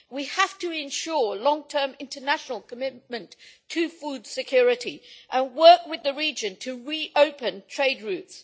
We have to ensure long term international commitment to food security and work with the region to re open trade routes.